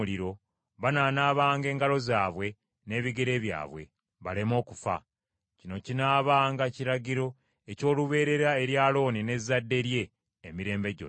banaanaabanga engalo zaabwe n’ebigere byabwe, baleme okufa. Kino kinaabanga kiragiro eky’olubeerera eri Alooni n’ezzadde lye emirembe gyonna.”